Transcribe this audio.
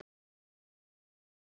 Hvað geri ég án þín?